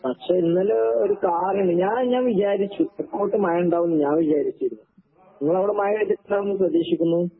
പക്ഷെ ഇന്നലെ ഒരു കാറ് ഞാൻ ഞാൻ വിചാരിച്ചു തെക്കോട്ട് മഴിണ്ടാവൂന്ന് ഞാൻ വിചാരിച്ചിരുന്നു. നിങ്ങളവടെ മഴ പെയ്തിട്ടുണ്ടാവൂന്ന് പ്രതീക്ഷിക്കുന്നു.